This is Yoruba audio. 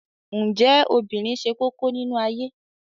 Ǹjẹ́ obìnrin ṣe kókó nínú ayé?